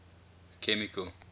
chemical